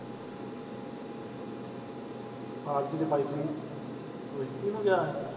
Party ਤਾਂ ਬਾਈ ਤਰੀਕ ਨੂੰ, ਇਹ ਇੱਕੀ ਨੂੰ ਗਿਆ ਹੀ।